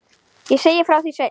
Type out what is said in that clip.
Ég segi frá því seinna.